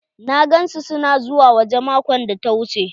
Na gan su su na zuwa waje maƙon da ta wuche.